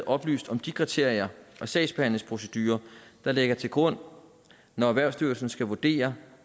oplyst om de kriterier og sagsbehandlingsprocedurer der ligger til grund når erhvervsstyrelsen skal vurdere